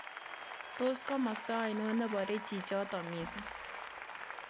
Tos' komosta ainon ne pore chichoton misiing'